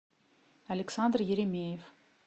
александр еремеев